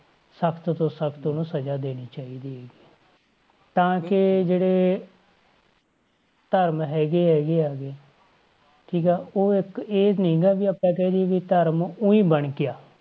ਸਖ਼ਤ ਤੋਂ ਸਖ਼ਤ ਉਹਨੂੰ ਸਜਾ ਦੇਣੀ ਚਾਹੀਦੀ ਹੈਗੀ ਹੈ ਤਾਂ ਕਿ ਜਿਹੜੇ ਧਰਮ ਹੈਗੇ ਹੈਗੇ ਆ ਗੇ ਠੀਕ ਆ ਉਹ ਇੱਕ ਇਹ ਨੀ ਗਾ ਵੀ ਆਪਾਂ ਕਹਿ ਦੇਈਏ ਵੀ ਧਰਮ ਊਈਂ ਬਣ ਗਿਆ।